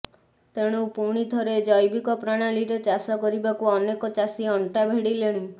ତେଣୁ ପୁଣି ଥରେ ଜୈବିକ ପ୍ରଣାଳୀରେ ଚାଷ କରିବାକୁ ଅନେକ ଚାଷୀ ଅଣ୍ଟା ଭିଡିଲେଣି